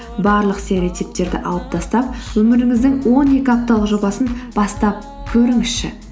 барлық стереотиптерді алып тастап өміріңіздің он екі апталық жобасын бастап көріңізші